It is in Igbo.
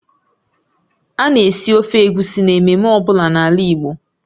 A na-esi ofe Egusi n'ememme ọ bụla n'ala Igbo